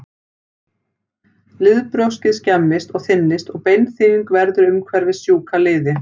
Liðbrjóskið skemmist og þynnist og beinþynning verður umhverfis sjúka liði.